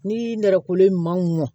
Ni nɛrɛkolen ɲuman mɔn